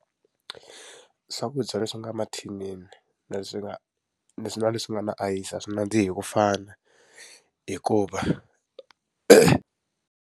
Swakudya leswi nga mathinini na leswi nga, leswi na leswi nga na ayisi a swi nandzihi ku fana hikuva .